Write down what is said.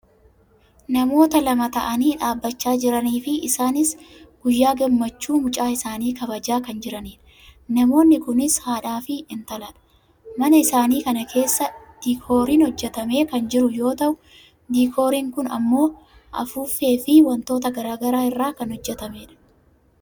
namoota lama ta'anii dhaabbachaa jiraniifi isaanis guyyaa gammachuu mucaa isaanii kabajaa kan jiranidha. namoonni kunis haadhaa fi intaladha. mana isaanii kana keessa diikooriin hojjatamee kan jiru yoo ta'u diikooriin kun ammoo afuuffeefi wantoota gara garaa irraa kan hojjatamedha.